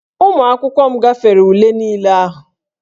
Ụmụ akwụkwọ m gafere ule niile ahụ